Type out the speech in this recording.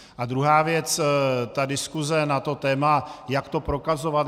A druhá věc - ta diskuse na to téma jak to propagovat.